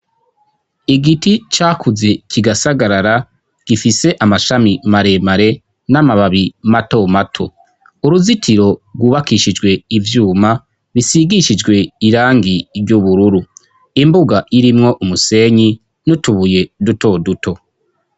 Igiti cakuze kigasagarara gifise amashami maremare n'amababi matomato, uruzitiro rwubakishijwe ivyuma bisigishijwe irangi ry'ubururu, imbuga irimwo umusenyi n'utubuye dutoduto.